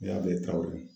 N y'a bɛɛ ta ola